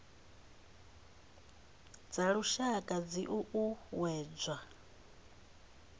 dza lushaka dzi o uuwedzwa